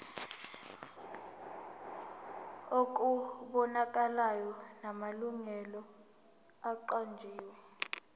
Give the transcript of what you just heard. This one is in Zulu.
okubonakalayo namalungu aqanjiwe